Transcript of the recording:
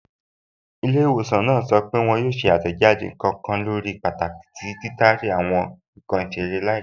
Ilẹ́̀-ìwọ̀sàn náà sọ́ pé wọn yóò ṣè àtẹ́jádé nkan kàn lórí pàtàkì tí títàrí àwọn nkan isèrè laípẹ̀.